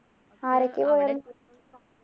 ആരൊക്കെയാ പോയെ